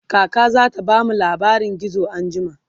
kaka zata bamu labarin gizo anjima